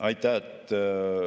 Aitäh!